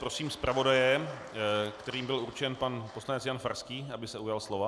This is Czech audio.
Prosím zpravodaje, kterým byl určen pan poslanec Jan Farský, aby se ujal slova.